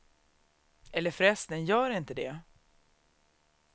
Eller förresten, gör inte det.